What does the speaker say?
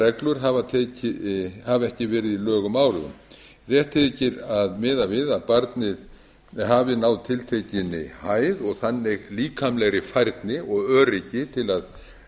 reglur hafa ekki verið í lögum áður rétt þykir að miða við að barnið hafi náð tiltekinn hæð og þannig líkamlegri færni og öryggi til að